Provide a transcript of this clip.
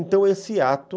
Então, esse ato...